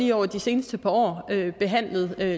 lige over de seneste par år behandlet